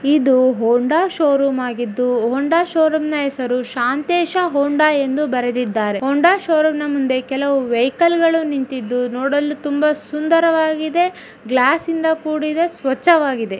ಇದು Honda showroom ಆಗಿದ್ದು Honda ಶೋ ರೂಮ್ನ ಹೆಸರು ಶಾಂತೇಶ ಹೊಂಡಾ ಎಂದು ಬರೆದಿದ್ದಾರೆ ಹೊಂಡಾ ಶೋ ರೂಮ್ ಮುಂದೆ ಕೆಲವು ವೆಹಿಕಲ್ ಗಳು ನಿಂತಿದ್ದು ನೋಡಲು ತುಂಬಾ ಸುಂದರವಾಗಿದೆ ಗ್ಲಾಸ್ ಇಂದ ಕೂಡಿದೆ ಸ್ವಚ್ಛವಾಗಿದೆ.